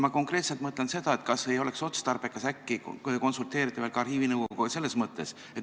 Ma konkreetselt mõtlen seda, kas ei oleks otstarbekas äkki konsulteerida veel ka arhiivinõukoguga.